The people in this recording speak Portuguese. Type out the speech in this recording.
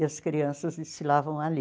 E as crianças se lavam ali.